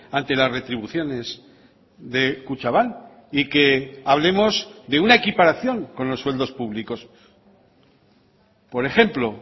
ante las retribuciones de kutxabank y que hablemos de una equiparación con los sueldos públicos por ejemplo